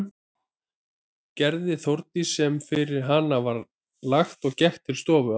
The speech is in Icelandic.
Gerði Þórdís sem fyrir hana var lagt og gekk til stofu að því loknu.